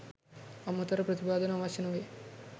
අමතර ප්‍රතිපාදන අවශ්‍ය නොවේ.